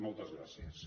moltes gràcies